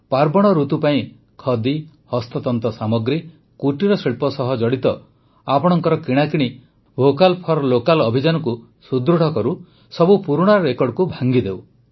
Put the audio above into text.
ପାର୍ବଣ ଋତୁ ପାଇଁ ଖଦି ହସ୍ତତନ୍ତ ସାମଗ୍ରୀ କୁଟୀର ଶିଳ୍ପ ସହ ଜଡ଼ିତ ଆପଣଙ୍କ କିଣାକିଣି ଭୋକାଲ୍ ଫର୍ ଲୋକାଲ୍ ଅଭିଯାନକୁ ସୁଦୃଢ଼ କରୁ ସବୁ ପୁରୁଣା ରେକର୍ଡ଼କୁ ଭାଙ୍ଗିଦେଉ